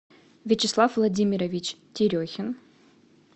вячеслав владимирович терехин